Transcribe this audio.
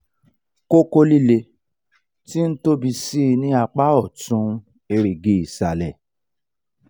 koko lile ti n tobi sii ni apa otun erigi isale